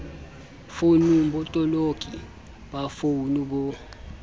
founung botoloki ba founu bo